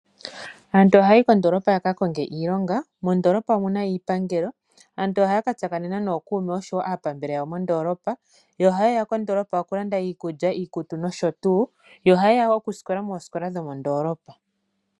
Aantu ohaya yi kondoolopa yaka konge iilonga mondoolopa omuna iipandelo. Aantu ohaya ka tsakanena nookuume noshowo aapambele yawo mondoolopa, yo ohaye ya mondoolopa oku landa iikulya, iikutu nosho tuu. Yo ohaye ya wo okusikola moosikola dhomondoolopa.